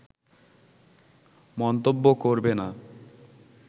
মন্তব্য করবে না